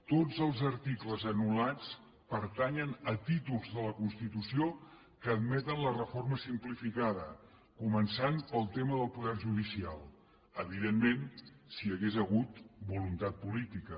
tots els articles anul·lats pertanyen a títols de la constitució que admeten la reforma simplificada començant pel tema del poder judicial evidentment si hi hagués hagut voluntat política